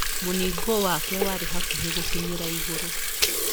Mũningũ wake warĩ hakuhĩ gũkinyĩra igũrũ.